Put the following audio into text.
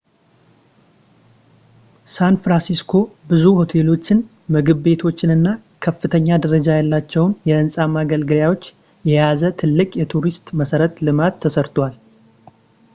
ሳንፍራንሲስኮ ብዙ ሆቴሎችን ምግብ ቤቶችንና ከፍተኛ ደረጃ ያላቸው የሕንፃ መገልገያዎችን የያዘ ትልቅ የቱሪስት መሠረተ ልማት ሰርተዋል